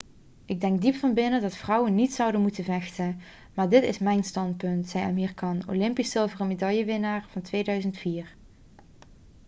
'ik denk diep van binnen dat vrouwen niet zouden moeten vechten. maar dat is mijn standpunt,' zei amir khan olympisch zilveren medaillewinnaar van 2004